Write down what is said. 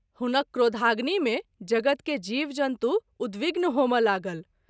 हुनक क्रोधाग्नि मे जगत के जीव- जन्तु उद्विग्न होमए लागल।